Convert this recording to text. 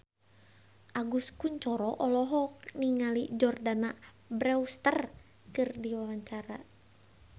Agus Kuncoro olohok ningali Jordana Brewster keur diwawancara